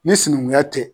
Ni sinankunya tɛ